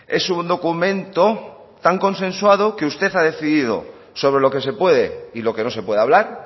es un documento tan consensuado que usted ha decidido sobre lo que se puede y lo que no se puede hablar